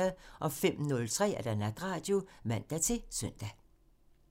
05:03: Natradio (man-søn)